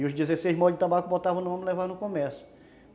E os dezesseis molhos de tabaco botavam no ombro e levavam no comércio.